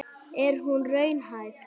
Er hún raunhæf?